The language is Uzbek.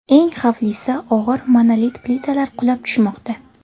Eng xavflisi, og‘ir monolit plitalar qulab tushmoqda.